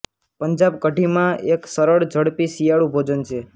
પંજાબ કઢીમાં એક સરળ ઝડપી શિયાળુ ભોજન છે